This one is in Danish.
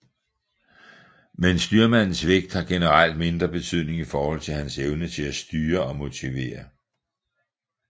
Men styrmandens vægt har generelt mindre betydning i forhold til hans evne til styre og motivere